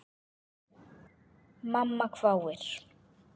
Mamma hváir.